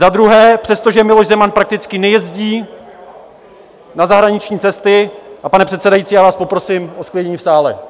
Za druhé, přestože Miloš Zeman prakticky nejezdí na zahraniční cesty... a pane předsedající, já vás poprosím o zklidnění v sále.